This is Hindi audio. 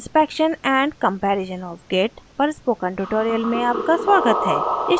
inspection and comparison of git पर spoken tutorial में आपका स्वागत है